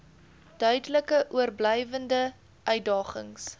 duidelik oorblywende uitdagings